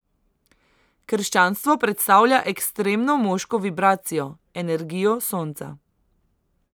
Krščanstvo predstavlja ekstremno moško vibracijo, energijo sonca.